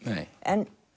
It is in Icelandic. en